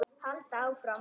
Halda áfram.